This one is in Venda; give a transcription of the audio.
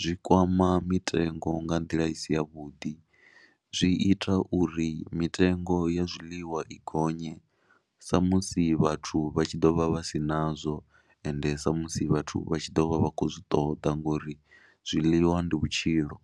zwi kwama mitengo nga nḓila i si yavhuḓi. Zwi ita uri mitengo ya zwiḽiwa i gonye samusi vhathu vha tshi ḓo vha vha si nazwo ende samusi vhathu vha tshi ḓo vha vha khou zwi ṱoḓa ngori zwiḽiwa ndi vhutshilo.